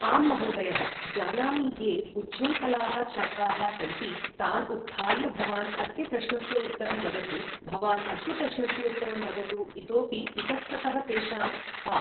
आं महोदयः जानामि ये उच्छृङ्खलाः छात्राः सन्ति तान् उत्थाय भवान् अस्य प्रश्नस्य उत्तरं वदतु भवान् अस्य प्रश्नस्य उत्तरं वदतु इतोपि इतस्ततः तेषां हा